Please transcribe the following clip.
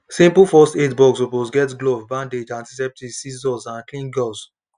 simple first aid box suppose get glove bandage antiseptic scissors and clean gauze